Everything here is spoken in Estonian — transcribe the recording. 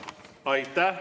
Aitäh!